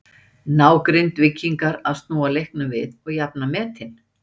Ná Grindvíkingar að snúa leiknum við og jafna metin?